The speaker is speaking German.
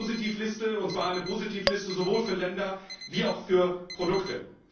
Wir brauchen eine Positivliste, und zwar eine Positivliste sowohl für Länder wie auch für Produkte.